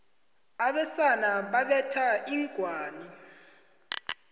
abesana babetha inghwani